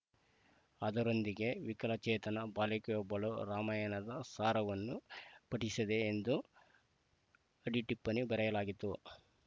ಅದರೊಂದಿಗೆ ವಿಕಲ ಚೇತನ ಬಾಲಕಿಯೊಬ್ಬಳು ರಾಮಾಯಣದ ಸಾರವನ್ನು ಪಠಿಸಿದೆ ಎಂದು ಅಡಿ ಟಿಪ್ಪಣಿ ಬರೆಯಲಾಗಿತ್ತು